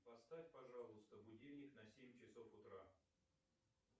поставь пожалуйста будильник на семь часов утра